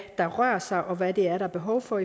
der rører sig og hvad der er behov for